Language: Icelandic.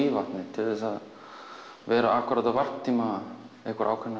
til að vera akkúrat á varptíma ákveðinna